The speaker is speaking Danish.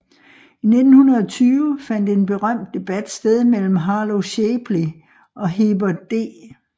I 1920 fandt en berømt debat sted mellem Harlow Shapley og Heber D